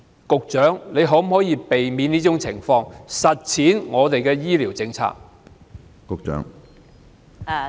局長，你可否避免這種情況出現，以實踐本港的醫療政策？